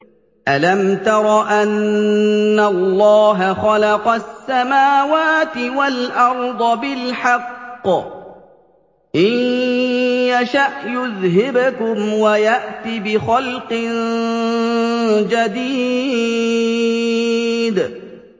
أَلَمْ تَرَ أَنَّ اللَّهَ خَلَقَ السَّمَاوَاتِ وَالْأَرْضَ بِالْحَقِّ ۚ إِن يَشَأْ يُذْهِبْكُمْ وَيَأْتِ بِخَلْقٍ جَدِيدٍ